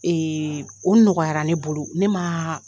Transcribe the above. o nɔgɔyara ne bolo, ne maa